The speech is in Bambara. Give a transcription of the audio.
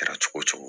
Kɛra cogo cogo